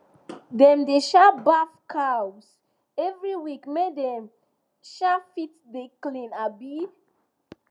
dem dey um baff cows every week make dem um fit dey clean um